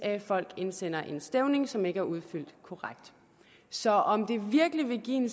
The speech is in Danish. folk indsender en stævning som ikke er udfyldt korrekt så om det virkelig vil give